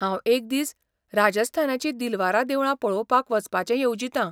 हांव एक दीस राजस्थानाचीं दिलवारा देवळां पळोवपाक वचपाचें येवजितां.